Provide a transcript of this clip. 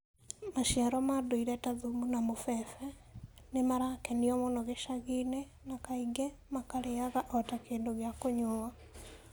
Maciaro ma ndũire ta thumu na mũbembe nĩ marakenio mũno gĩcagi-inĩ, na kaingĩ makarĩaga o ta kĩndũ gĩa kũnyuuo.